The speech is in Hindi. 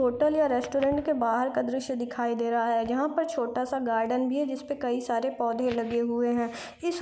होटल या रेस्टोरैंट के बाहर का दृश्य दिखाई दे रहा हैयहाँ पर छोटा सा गार्डन भी है जिस पे कई सारे पौधे लगे हुए है। इस--